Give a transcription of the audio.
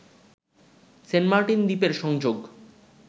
Saint Martin দ্বীপের সংযোগ